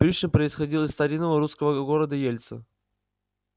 пришвин происходил из старинного русского города ельца